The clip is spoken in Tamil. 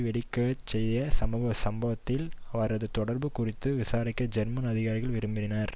வெடிக்க செய்த சம்பவத்தில் அவரது தொடர்பு குறித்து விசாரிக்க ஜெர்மன் அதிகாரிகள் விரும்பினர்